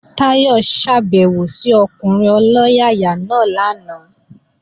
Táyọ̀ ṣàbèwò sí ọkùnrin ọlọ́yàyà náà lánàá